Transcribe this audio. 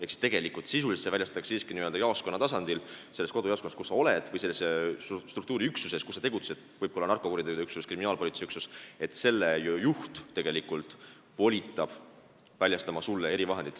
Ehk tegelikult see väljastatakse siiski n-ö jaoskonna tasandil, sinu kodujaoskonnas või selles struktuuriüksuses, kus sa tegutsed, see võib olla ka narkokuritegude üksus või kriminaalpolitseiüksus, selle juht tegelikult volitab sulle erivahendit väljastama.